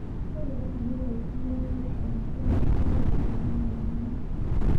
Ekeliki yiok oltururr lebiotisho enegira olkirobi lekorona aikunari.